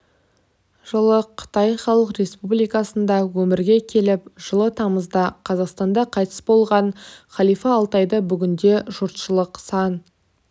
жылы қытай халық республикасында өмірге келіп жылы тамызда қазақстанда қайтыс болған халифа алтайды бүгінде жұртшылық сан